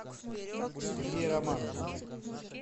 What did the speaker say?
сергей романов